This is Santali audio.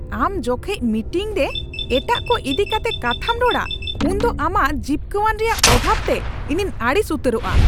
ᱟᱢ ᱡᱚᱠᱷᱮᱡ ᱢᱤᱴᱤᱝᱨᱮ ᱮᱴᱟᱜ ᱠᱚ ᱤᱫᱤ ᱠᱟᱛᱮ ᱠᱟᱛᱷᱟᱢ ᱨᱚᱲᱟ ᱩᱱᱫᱚ ᱟᱢᱟᱜ ᱡᱤᱯᱠᱟᱹᱣᱟᱱ ᱨᱮᱭᱟᱜ ᱚᱵᱷᱟᱵ ᱛᱮ ᱤᱧᱤᱧ ᱟᱹᱲᱤᱥ ᱩᱛᱟᱹᱨᱚᱜᱼᱟ ᱾